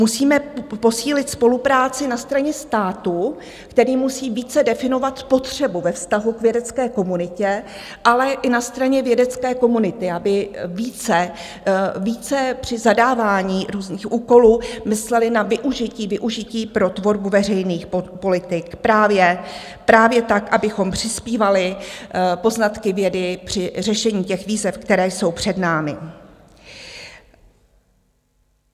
Musíme posílit spolupráci na straně státu, který musí více definovat potřebu ve vztahu k vědecké komunitě, ale i na straně vědecké komunity, aby více při zadávání různých úkolů myslela na využití pro tvorbu veřejných politik právě tak, abychom přispívali poznatky vědy při řešení těch výzev, které jsou před námi.